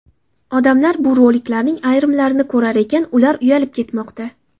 Odamlar bu roliklarning ayrimlarini ko‘rar ekan, ular uyalib ketmoqda.